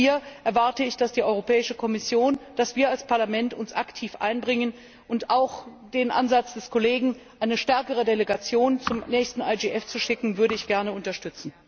Auch hier erwarte ich, dass die Europäische Kommission, dass wir als Parlament uns aktiv einbringen, und auch den Ansatz des Kollegen, eine stärkere Delegation zum nächsten IGF zu schicken, würde ich gerne unterstützen.